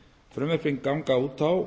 frumvörpin ganga út á